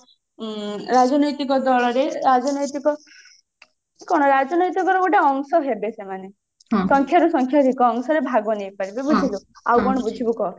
ଉଁ ରାଜନୈତିକ ଦଳରେ ରାଜନୈତିକ କଣ ରାଜନୈତିକ ର ଗୋଟେ ଅଂସ ହେବେ ସେମାନେ ସଂଖ୍ୟାରୁ ସଂଖ୍ୟାଧିକ ଅଂଶରେ ଭାଗ ନେଇ ପାରିବେ ବୁଝିଲୁ ଆଉ କଣ ବୁଝିବୁ କଃ